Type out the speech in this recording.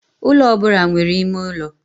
Ụlọ ọ bụla nwere ime ụlọ.